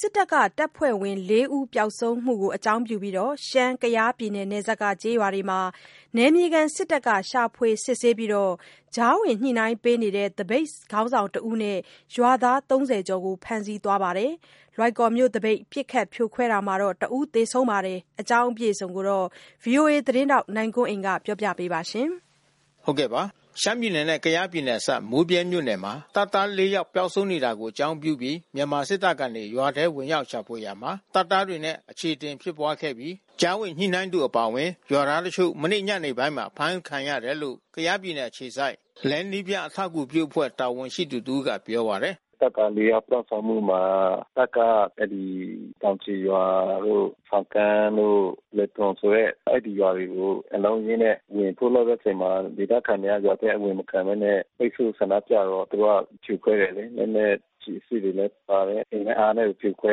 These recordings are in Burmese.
စစ်တပ်က တပ်ဖွဲ့ဝင် ၄ ဦး ပျောက်ဆုံးမှုကို အကြောင်းပြုပြီး ရှမ်း-ကယားပြည်နယ် နယ်စပ်က ကျေးရွာတွေမှာ နယ်မြေခံစစ်တပ်က ရှာဖွေစစ်ဆေးပြီးတော့ ကြားဝင်ညှိနှိုင်းပေးတဲ့ သပိတ်ခေါင်းဆောင် တဦးနဲ့ ရွာသား ၃၀ ကျော်ကို ဖမ်းဆီးသွားပါတယ်။ လွိုင်ကော်မြို့သပိတ် ပစ်ခတ်ဖြိုခွဲတာမှာတော့ ၁ ဦး သေဆုံးပါတယ်။ ဒီအကြောင်း ဗွီအိုအေသတင်းထောက် နိုင်ကွန်းအိန်က သတင်းပေးပို့ထားပါတယ်။ ရှမ်းပြည်နယ်နဲ့ကယားပြည်နယ်အစပ် မိုးဗြဲမြို့နယ်မှာ တပ်သား ၄ ယောက်ပျောက်ဆုံးနေတာကို အကြောင်း ပြုပြီး မြန်မာစစ်တပ်ကနေ ရွာထဲဝင်ရောက်ရှာဖွေရာမှာ ရွာသားတွေနဲ့အခြေအတင်ဖြစ်ပွါးခဲ့ပြီး ကြားဝင်ညှိနှိုင်းသူအပါအဝင် ရွာသားတချို့ မနေ့ညနေပိုင်းမှာအဖမ်းဆီးခံခဲ့ရတယ်လို့ ကယားပြည်နယ်အခြေစိုက် LAIN နည်းပညာ အထောက်အကူပြုအဖွဲ့ တာဝန်ရှိသူတဦးကပြောပါတယ်။ “တပ်သား ၄ ယောက်ပျောက်ဆုံးမှုမှာ တပ်က အဲဒီတောင်ခြေရွာတို့ ဆောင်ကန်းတို့ လယ်ထွန်ဆိုတဲ့ အဲဒီ ရွာတွေကို အလုံးအရင်းနဲ့ ဝင်ထိုးလိုက်တဲ့အချိန်မှာ ဒေသခံတွေက ရွာထဲအဝင်မခံဘဲနဲ့ ပိတ်ဆို့ဆန္ဒပြတော့ သူတို့ကဖြိုခွဲတယ်လေ။ လက်နက် ကျည် အစစ်တွေလည်းပါတယ်။ အင်နဲ့အားနဲ့ဖြိုခွဲ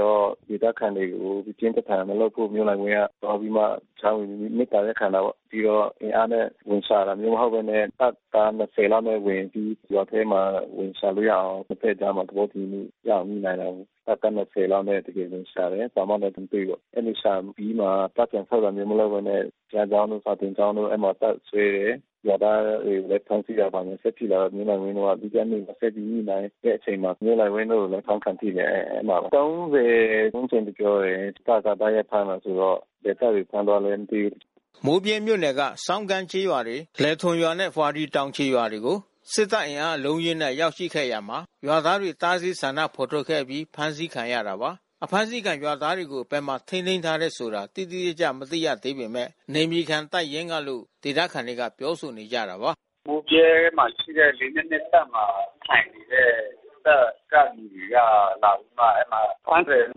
တော့ ဒေသခံတွေကို ပစ်ပစ်ခါခါမလုပ်ဖို့ မျိုးလှိုင်ဝင်းက သွားပြီးမှ ကြားဝင်မေတ္တာရပ်ခံတယ်ပေါ့။ ပြီးတော့ အင်အားနဲ့ ဝင်ရှာတာမျိုးမဟုတ်ဘဲနဲ့ တပ်သား ၂၀ လောက်နဲ့ဝင်ပြီး ရွာထဲဝင်ရှာလို့ရအောင် နှစ်ဖက်ကြား သဘောတူညီမှုရအောင်ညှိနှိုင်းနိုင်တယ်။ တပ် ၂၀ လောက်နဲ့သူတို့ဝင်ရှာတယ်။ ဘာမှလဲမတွေ့ဘူးပေါ့။ အဲဒီလိုရှာအပြီးမှာ တပ်ပြန်ဆုတ်တာမျိုးမလုပ်ဘဲနဲ့ ဘုရားကျောင်းတို့ စာသင်ကျောင်းတို့ အဲဒီမှာ တပ်စွဲတယ်။ ရွာသားတွေကိုလည်း ဖမ်းဆီးတာတွေဆက်ရှိလာတော့ မျိုးလှိုင်ဝင်းတို့က ဒုတိယနေ့ ဆက်ပြီး ညှိနှိုင်းတဲ့အချိန်မှာ မျိုးလှိုင်ဝင်းတို့လဲ အဖမ်းခံထိတယ်။ အဲမှာ ၃၀ ဝန်းကျင်လို့ပြောတယ်။ တပ်က တိုက်ရိုက်ဖမ်းတယ်ဆိုတော့ ဘယ်တပ်တွေဖမ်းလဲမသိဘူး။” မိုးဗြဲမြို့နယ်ကဆောင်ကန်းကျေးရွာ၊ လယ်ထွန်ရွာနဲ့ ဝှာရီတောင်ခြေရွာတွေကို စစ်တပ်အင်အား အလုံးအရင်းနဲ့ ရောက်ရှိလာခဲ့ရာမှာ ရွာသားတွေ တားဆီးဆန္ဒဖော်ထုတ်ခဲ့အပြီးဖမ်းဆီးခံရတာပါ။ အဖမ်းဆီးခံရွာသားတွေကိုဘယ်မှာထိန်းသိမ်းထားတယ်ဆိုတာတိတိကျကျမသိရသေးပေမဲ့ နယ်မြေခံတပ်ရင်းကလို့ ဒေသခံတွေကပြောဆိုနေကြတာပါ။ “မိုးဗြဲမှာရှိတဲ့ ၄၂၂ တပ်မှာ ထိုင်နေတဲ့ တပ်ကလူတွေ အဲဒီမှာလာပြီးမှ ဖမ်းတယ်လို့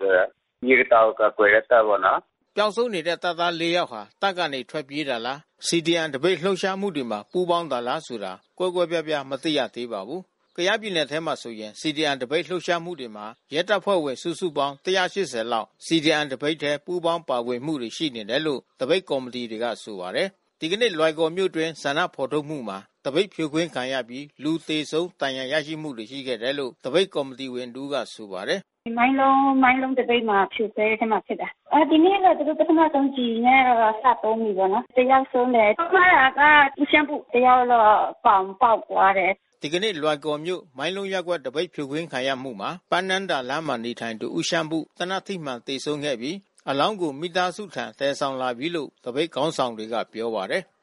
ပြောတယ်။ ရေကာတာကို ကာကွယ်တဲ့တပ်ပေါ့နော်။” ပျောက်ဆုံးနေတဲ့တပ်သား ၄ ယောက်ဟာ တပ်ကနေထွက်ပြေးတာလား CDM သပိတ်လှုပ်ရှားမှုတွေမှာ ပူးပေါင်းတာလားဆိုတာ ကွဲကွဲပြားပြားမသိရသေးပါဘူး။ ကယားပြည်နယ်ထဲမှာဆိုရင် CDM သပိတ်လှုပ်ရှားမှုတွေမှာ ရဲတပ်ဖွဲ့ဝင် ၁၈၀ လောက် ပူးပေါင်းပါဝင်ထားတယ်လို့ သပိတ်ကော်မီတီတွေကဆိုပါတယ်။ ဒီကနေ့လွိုင်ကော်မြို့အတွင်းဆန္ဒဖော်ထုတ်မှုမှာ သပိတ်ဖြိုခွင်းခံရပြီး လူသေဆုံးဒဏ်ရာရမှုရှိခဲ့တယ်လို့ သပိတ် ကော်မီတီဝင်တဦးကပြောပါတယ်။ “ဒီ မိုင်းလုံးသပိတ်မှာဖြိုခွင်းမှုဖြစ်တယ်။ ဒီနေ့လဲ သူတို့ ပထမဆုံးကျည်နဲ့စသုံးတယ်ပေါ့နော်။ တယောက်ဆုံးတယ်။ ဆုံးသွားတာကဦးရှမ်းပု။ တယောက်တော့ပေါင်ပေါက်သွားတယ်။” ဒီကနေ့ လွိုင်ကော်မြို့ မှိုင်းလုံးရပ်ကွက် သပိတ်ဖြိုခွင်းခံရမှုမှာ ပန်းနန်းဒါလမ်းမှာနေသူ ဦးရှမ်းပု သေနတ် ထိမှန် သေဆုံးခဲ့ပြီး အလောင်းကိုမိသားစုထံသယ်ဆောင်ပြီးပြီလို့ သပိတ်ခေါင်းဆောင် တွေကပြောပါတယ်"